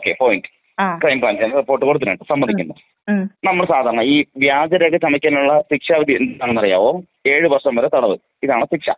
Okay point ക്രൈംബ്രാഞ്ചാണ് report കൊടുത്തിരിക്കുന്നെ സമ്മതിക്കുന്നു. നമ്മൾ സാധാരണ ഈ വ്യാജരേഖ ചമക്കുന്നതിനുള്ള ശിക്ഷാവിധി എന്താണെന്ന് അറിയാമോ ഏഴുവർഷം വരെ തടവ് ഇതാണ് ശിക്ഷ.